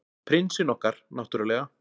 Prinsinn okkar, náttúrlega.